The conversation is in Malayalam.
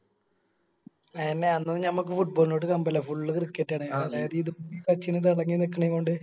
ആയെന്നെ അന്നൊന്നും ഞമ്മക്ക് Football നോട് കമ്പല്ല Full cricket